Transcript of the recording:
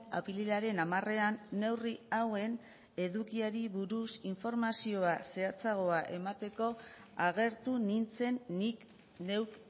apirilaren hamarean neurri hauen edukiari buruz informazioa zehatzagoa emateko agertu nintzen nik neuk